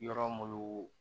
Yɔrɔ mun